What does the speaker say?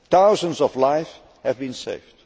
Thousands of lives have been saved.